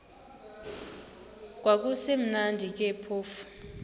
kwakusekumnandi ke phofu